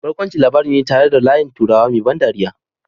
Barkwanci labari ne tare da layin turawa mai ban dariya